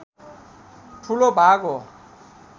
ठूलो भाग हो